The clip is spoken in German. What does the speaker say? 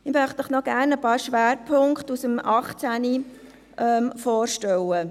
Ich möchte Ihnen gerne noch einige Schwerpunkte aus dem Jahr 2018 vorstellen.